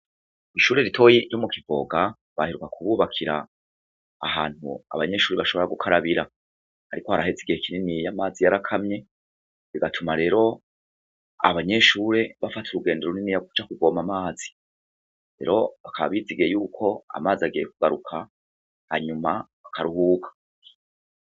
Ishuri rito ryo mu Kivoga baheruka kububakira ahantu abanyeshuri bashobora gukarabira ariko haraheze igihe kininiya amazi yarakamye bigatuma rero abanyeshuri bafata urugendo runiniya rwo kuja kuvoma amazi rero bakaba bizigiye yuko amazi agiye kugaruka hanyuma bakaruhuka.